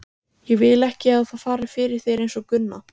Ég vil ekki að það fari fyrir þér einsog Gunna.